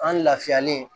An lafiyalen